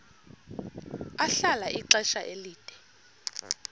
ahlala ixesha elide